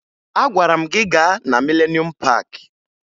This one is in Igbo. Agwara m gị gaa na Mịlenuum Paakị!